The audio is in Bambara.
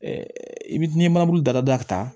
i bi n'i ye manamugu dada da